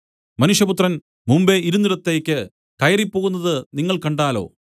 മനുഷ്യപുത്രൻ മുമ്പെ ഇരുന്നിടത്തേക്ക് കയറിപ്പോകുന്നത് നിങ്ങൾ കണ്ടാലോ